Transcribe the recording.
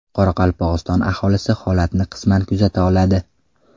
Qoraqalpog‘iston aholisi holatni qisman kuzata oladi .